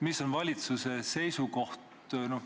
Milline on valitsuse seisukoht?